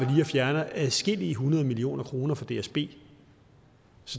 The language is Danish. fjerner adskillige hundrede millioner kroner fra dsb